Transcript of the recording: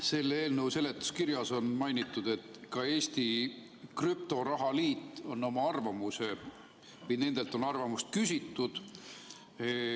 Selle eelnõu seletuskirjas on mainitud, et ka Eesti Krüptoraha Liidult on arvamust küsitud.